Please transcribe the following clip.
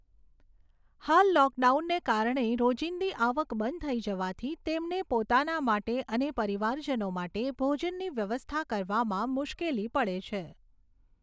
હાલ લોકડાઉનને કારણે રોજિંદી આવક બંધ થઈ જવાથી તેમને પોતાના માટે અને પરિવારજનો માટે ભોજનની વ્યવસ્થા કરવામાં મુશ્કેલી પડે છે.